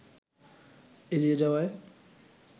এড়িয়ে যাওয়ায়